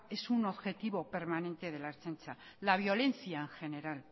es un objetivo permanente de la ertzaintza la violencia en general